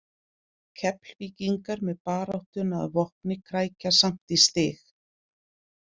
Keflvíkingar með baráttuna að vopni krækja samt í stig.